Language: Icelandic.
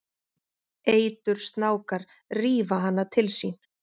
Eitursnákar rífa hana til sín.